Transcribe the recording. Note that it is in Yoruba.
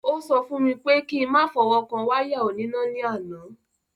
Ó sọ fún mi pé kí n má fọwọ́ kan wáyà oníná ni àná.